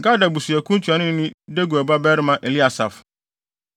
Gad abusuakuw ntuanoni ne Deguel babarima Eliasaf;